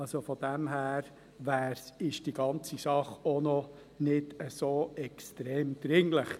Von daher ist die ganze Sache auch noch nicht so extrem dringlich.